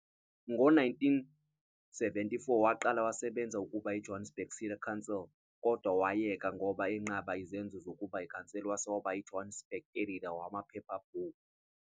Ngo-1974 waqala wasebenza ukuba eJohannesburg City Council kodwa wayeka ngoba enqaba izenzo zokuba iCouncil wase waba yiJohannesburg editor kumaphephabhuku.